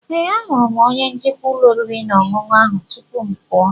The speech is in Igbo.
Ee, ahụrụ m onye njikwa ụlọ oriri na ọṅụṅụ ahụ tupu m pụọ.